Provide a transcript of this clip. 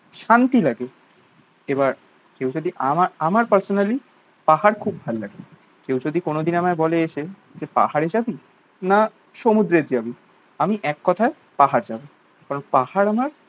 শান্তি লাগে। এবার কেউ যদি আমার আমার পার্সোনালি পাহাড় খুব ভালো লাগে। কেউ যদি কোনোদিন আমায় বলে এসে যে পাহাড়ে যাবি না সুমুদ্রে যাবি? আমি এককথায় পাহাড় যাবো। কারণ পাহাড় আমার